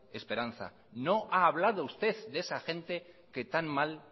esperanza no ha hablado usted de esa gente que tan mal